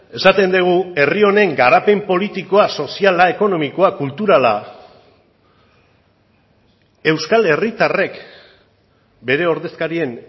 esaten dugu herri honen garapen politikoa soziala ekonomikoa kulturala euskal herritarrek bere ordezkarien